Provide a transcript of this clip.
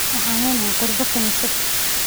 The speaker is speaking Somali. Waxaan leenahay qurbaan kaniisad.